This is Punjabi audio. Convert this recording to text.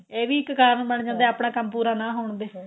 ਇਹ ਵੀ ਇੱਕ ਕਾਰਨ ਬਣ ਜਾਂਦਾ ਆਪਣਾ ਕੰਮ ਪੂਰਾ ਨਾ ਹੋਣ ਦੇ